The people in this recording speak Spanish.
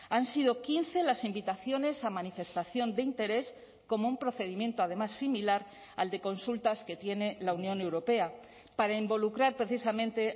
han sido quince las invitaciones a manifestación de interés como un procedimiento además similar al de consultas que tiene la unión europea para involucrar precisamente